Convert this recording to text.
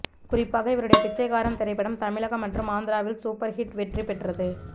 குறிப்பாக இவருடைய பிச்சைக்காரன் திரைப்படம் தமிழகம் மற்றும் ஆந்திராவில் சூப்பர் ஹிட் வெற்றி பெற்றது